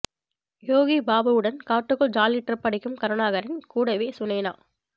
யோகி பாபு உடன் காட்டுக்குள் jolly trip அடிக்கும் கருணாகரன் கூடவே சுனைனா